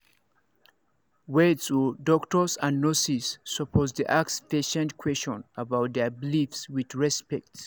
wait odoctors and nurses supposed dey ask patient question about their beliefs with respect